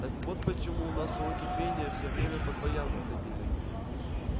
так вот почему у нас уроки пения все время под баян проходили